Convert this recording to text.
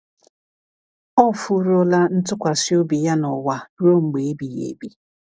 “Ọ furuola ntụkwasị obi ya n’ụwa ruo mgbe ebighị ebi.”